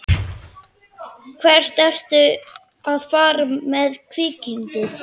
Hvert ertu að fara með kvikindið?